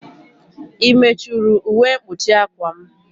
I mechuru ụwe mkpuchi akwa m?